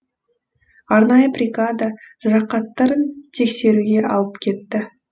арнайы бригада жарақаттарын тексеруге алып кетті